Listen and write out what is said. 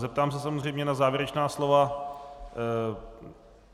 Zeptám se samozřejmě na závěrečná slova.